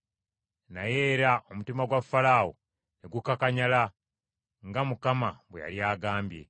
Naye era omutima gwa Falaawo ne gukakanyala, nga Mukama bwe yali agambye.